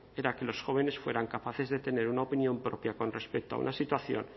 era que los jóvenes fueran capaces de tener una opinión propia con respecto a una situación